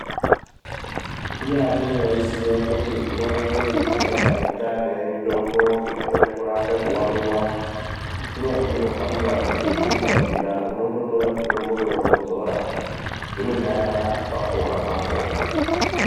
Ndiyani vaiziya kuti nguva inoiyi tingadai tane mitombo inokone kurapa kuvaviva. Kunyazi vahamba ngezvikukwa zviya unondo tora mitomboyo vodzora zvinonyarara apapo-apapo.